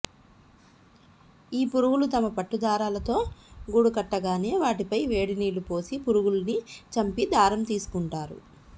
ఈ పురుగులు తమ పట్టుదారాలతో గూడుకట్టగానే వాటిపై వేడినీళ్ళు పోసి పురుగుల్ని చంపి దారం తీసుకుంటారు